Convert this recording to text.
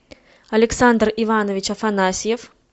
александр иванович афанасьев